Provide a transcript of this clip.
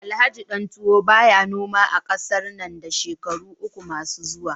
Alhaji Dantuwo baya noma a kasa nan da shekaru uku masu zuwa